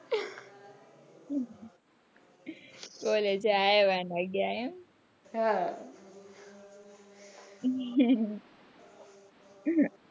ઓરે જાય એવા નથી એમ હા